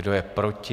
Kdo je proti?